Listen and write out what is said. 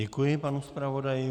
Děkuji panu zpravodaji.